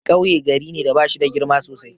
Kauye gari ne da bashida girma sosai.